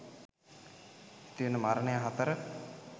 ඇතිවන මරණය 4.